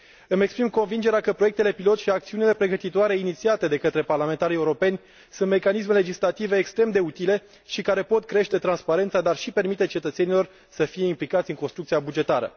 Îmi exprim convingerea că proiectele pilot și acțiunile pregătitoare inițiate de către parlamentarii europeni sunt mecanisme legislative extrem de utile și care pot crește transparența, dar și permite cetățenilor să fie implicați în construcția bugetară.